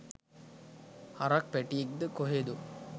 හරක් පැටියෙක්ද කොහෙදෝ